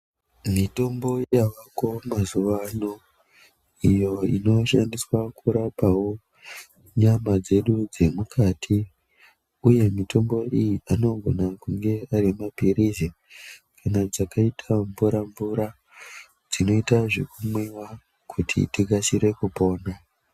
Mitombo yavako mazuwa ano, iyo inoshandiswa kurapawo nyama dzedu dzemukati uye mitombo iyi anogona kunge ari mapilizi kana dzaakaita mvura mvura dzinoita zvekumwiwa kuti tikasire kupora.